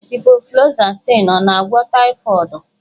Ciproflosasịn ọ na-agwọ taịfọdụ?